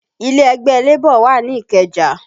Ilé ẹgbẹ́ Labour wà ní Ikeja